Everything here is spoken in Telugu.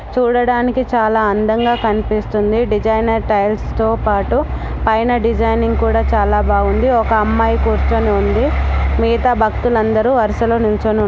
చూడడానికి చాలా అందంగా కనిపిస్తుంది డిసైనర్ టైల్స్ తో పాటు పైన డిజైనింగ్ కూడా చాలా బాగుంది ఒక అమ్మాయి కూర్చొని ఉంది మిగితా భక్తులందరూ వరుసలో నిల్చోను--